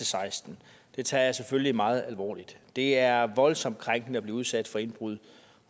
seksten det tager jeg selvfølgelig meget alvorligt det er voldsomt krænkende at blive udsat for indbrud